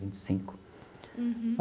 Vinte e cinco. Uhum.